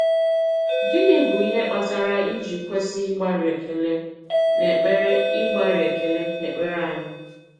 Gịnị bụ̀ ihe kpatara e ji kwesị ịgbàrị́ ekele n’èkpere ịgbàrị́ ekele n’èkpere anyị?